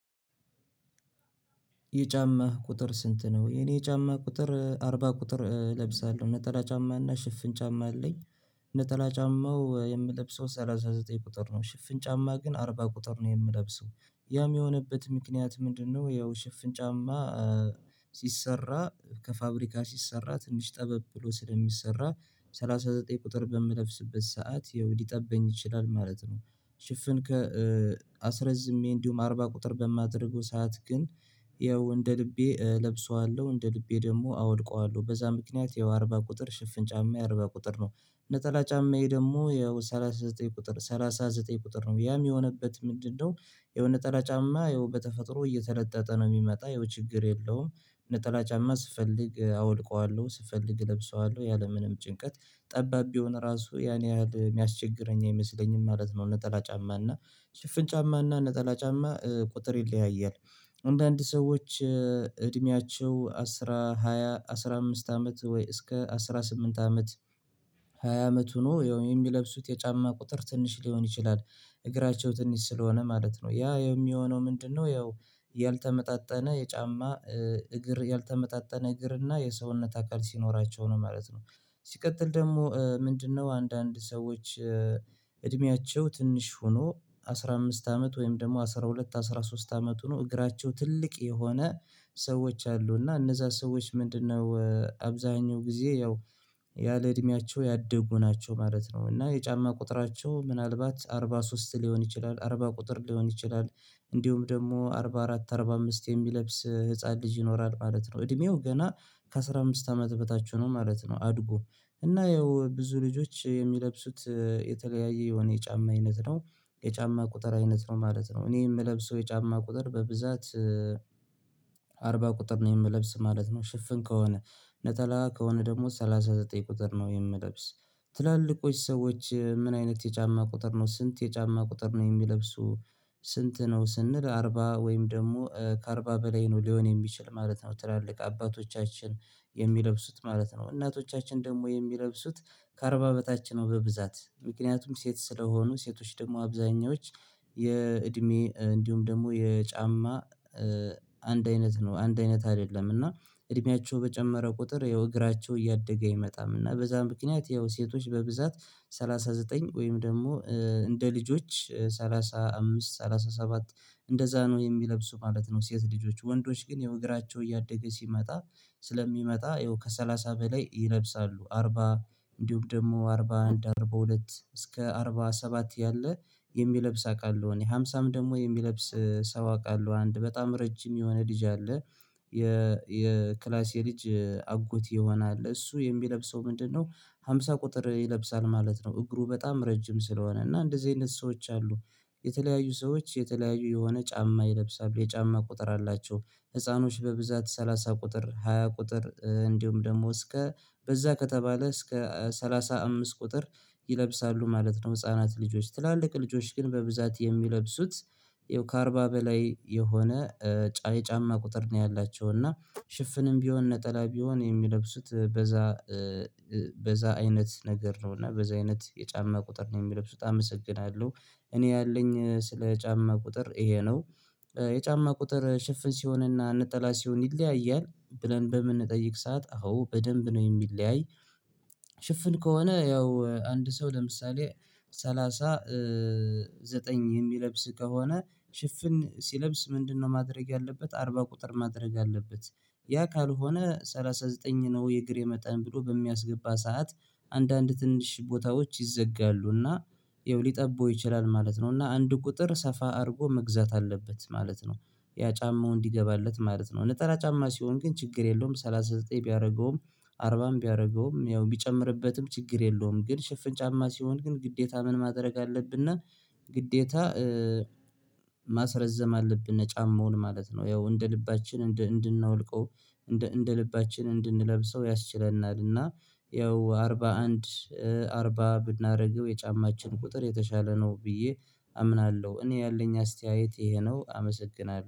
የጫማህ ቁጥር ስንት ነው የኔ የጫማ ቁጥር አርባ ቁጥር እለብሳለሁ ነጠላ ጫማና እና ሽፍን ጫማ አለኝ እና ነጠላ ጫማው የምለብሰው ሰላሳ ዘጠኝ ቁጥር ነው ሽፍን ጫማ ግን አርባ ቁጥር ነው የምለብሰው ያ የሚሆንበት ምክንያት ምንድነው ያው ሽፍን ጫማ ሲሰራ ከፋብሪካ ሲሰራ ትንሽ ጠበብ ብሎ ስለሚሰራ ሰላሳ ዘጠኝ ቁጥር በምለብስት ሰዓት ያው ሊጠበኝ ይችላል ማለት ነው ሽፍን አስረዝሜ እንዲሁም አርባ ቁጥር በማደርገው ሰዓት ግን ያው እንደልቤ እለብሰዋለሁ እንደልቤ ደግሞ አወልቀዋለሁ በዛ ምክንያት ያው አርባ ቁጥር ሽፍን ጫማየ አርባ ቁጥር ነው ነጠላ ጫማዬ ደግሞ ያው ሰላሳ ዘጠኝ ቁጥር ሰላሳ ዘጠኝ ቁጥር ነው ያም የሆነበት ምንድነው ያው ነጠላ ጫማ ያው በተፈጥሮ እየተለጠጠ ነው የሚመጣ ያው ችግ የለውም ነጠላ ጫማ ስፈልግ አወልቀዋለሁ ስፈልግ እለብሰዋለሁ ያለምንም ጭንቀት ጠባብ ቢሆን ራሱ ያን ያህል የሚያስቸግረኝ አይመስለኝም ማለት ነው ነጠላ ጫማ እና ሽፍን ጫማ እና ነጠላ ጫማ ቁጥር ይለያያል አንዳንድ ሰዎች እድሜያቸው አስራ ሃያ አስራ አምስት አመት ወይ እስከ አስራ ስምንት አመት ሃያ አመት ሆኖ ያው የሚለብሱት የጫማ ቁጥር ትንሽ ሊሆን ይችላል እግራቸው ትንሽ ስለሆነ ማለት ነው ያ የሚሆነው ምንድነው ያው ያልተመጣጠነ የጫማ እግር ያልተመጣጠነ እግርና የሰውነት አካል ሲኖራቸው ነው ማለት ነው ሲቀጥል ደግሞ ምንድነው አንዳንድ ሰዎች እድሜያቸው ትንሽ ሆኖ አስራ አምስት አመት ወይም ደግሞ አስራ ሁለት አስራ ሶስት አመት ሆኖ እግራቸው ትልቅ የሆነ ሰዎች አሉ እና እነዛ ሰዎች ምንድነው አብዛኛው ጊዜ ያው ያለ እድሜያቸው ያደጉ ናቸው ማለት ነው እና የጫማ ቁጥራቸው ምናልባት አርባ ሶስት ሊሆን ይችላል አርባ ቁጥር ሊሆን ይችላል እንዲሁም ደግሞ አርባ አራት አርባ አምስት የሚለብስ ህፃን ልጅ ይኖራል ማለት ነው እድሜው ገና ከአሥራ አምስት አመት በታች ሆኖ ማለት ነው አድጎ እና ያው ብዙ ልጆች የሚለብሱት የተለያየ የሆነ የጫማ አይነት ነው የጫማ ቁጥር አይነት ነው ማለት ነው እኔ የምለብሰው የጫማ ቁጥር በብዛት አርባ ቁጥር ነው የምለብስ ማለት ነው ሽፍን ከሆነ ነጠላ ከሆነ ደግሞ ሰላሳ ዘጠኝ ቁጥር ነው የምለብስ ትላልቆች ሰዎች ምን አይነት የጫማ ቁጥር ነው ስንት የጫማ ቁጥር ነው የሚለብሱ ስንት ነው ስንል አርባ ወይም ደግሞ ከአርባ በላይ ነው ሊሆን የሚችል ማለት ነው ትላልቅ አባቶቻችን የሚለብሱት ማለት ነው እናቶቻችን ደግሞ የሚለብሱት ከአርባ በታች ነው በብዛት ምክንያቱም ሴት ስለሆኑ ሴቶች ደግሞ አብዛኛዎች የእድሜ እንዲሁም ደግሞ የጫማ አንድ አይነት ነው አንድ አይነት አይደለም እና እድሜያቸው በጨመረ ቁጥር ያው እግራቸው እያደገ አይመጣም እና በዛ ምክንያት ያው ሴቶች በብዛት ሰላሳ ዘጠኝ ወይም ደግሞ እንደ ልጆች ሰላሳ አምስትየእግራቸውደዛ ነው የሚለብሱ ማለት ነው ሴት ልጆች ወንዶች ግን ያው እግራቸው እያደገ ሲመጣ ስለሚመጣ ያው ከሰላሳ በላይ ይለብሳሉ አርባ እንዲሁም ደግሞ አርባ አንድ አርባ ሁለት እስከ አርባሰባት ያለ የሚለብስ አውቃለሁ እኔ ሃምሳም ደግሞ የሚለብስ ሰው አውቃለሁ አንድ በጣም ረጅም የሆነ ልጅ አለ የ የክላሴ የልጅ አጎት የሆነ አለ እሱ የሚለብሰው ምንድነው ሃምሳ ቁጥር ይለብሳል ማለት ነው እግሩ በጣም ረጅም ስለሆነ እና እንደዚህ አይነት ሰዎች አሉ የተለያዩ ሰዎች የተለያዩ የሆነ ጫማ ይለብሳሉ የጫማ ቁጥር አላቸው ህፃኖች በብዛት ሰላሳ ቁጥር ሃያ ቁጥር እንዲሁም ደግሞ እስከ በዛ ከተባለ እስከ ሰላሳ አምስት ቁጥር ይለብሳሉ ማለት ነው ህፃናት ልጆች ትላልቅ ልጆች ግን በብዛት የሚለብሱት ያው ከአርባ በላይ የሆነ የጫማ ቁጥር ነው ያላቸው እና ሽፍንም ቢሆን ነጠላ ቢሆን የሚለብሱት በዛ በዛ አይነት ነገር ነው እና በዛ አይነት የጫማ ቁጥር ነው የሚለብሱት አመሰግናለሁ እኔ ያለኝ ስለ ጫማ ቁጥር ይሄ ነው የጫማ ቁጥር ሽፍን ሲሆንና ነጠላ ሲሆን ይለያያል? ብለን በምንጠይቅ ሰዓት አዎ በደንብ ነው የሚለያይ ሽፍን ከሆነ ያው አንድ ሰው ለምሳሌ ሰላሳ ዘጠኝ የሚለብስ ከሆነ ሽፍን ሲለብስ ምንድነው ማድረግ ያለበት አርባ ቁጥር ማድረግ አለበት ያ ካልሆነ ሰላሳ ዘጠኝ ነው የእግሬ መጠን ብሎ በሚያስገባ ሰዓት አንዳንድ ትንሽ ቦታዎች ይዘጋሉ እና ያው ሊጠብው ይችላል ማለት ነው እና አንድ ቁጥር ሰፋ አድርጎ መግዛት አለበት ማለት ነው ያ ጫማው እንዲገባለት ማለት ነው ነጠላ ጫማ ሲሆን ግን ችግር የለውም ሰላሳ ዘጠኝ ቢያደርገውም አርባም ቢያደርገውም ያው ቢጨምርበትም ችግር የለውም ግን ሽፍን ጫማ ሲሆን ግን ግዴታ ምን ማድረግ አለብን ግዴታ ማስረዘም አለብን ጫመውን ማለት ነው ያው እንደ ልባችን እንደ እንድናወልቀው እንደ እንደ ልባችን እንድንለብሰው ያስችለናልና ያው አርባ አንድ አርባ ብናደርገው የጫማችን ቁጥር የተሻለ ነው ብዬ አምናለሁ እኔ ያለኝ አስተያየት ይሄ ነው አመሰግናለሁ